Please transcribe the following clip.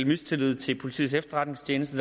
mistillid til politiets efterretningstjeneste